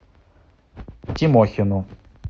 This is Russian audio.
тимохину